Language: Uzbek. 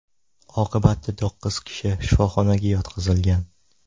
Oqibatda to‘qqiz kishi shifoxonaga yotqizilgan.